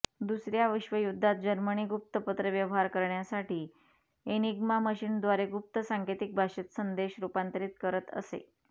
दुसर्या विश्वयुद्धात जर्मनी गुप्त पत्रव्यवहार करण्यासाठी एनिग्मा मशीनद्वारे गुप्त सांकेतिक भाषेत संदेश रुपांतरीत करत असे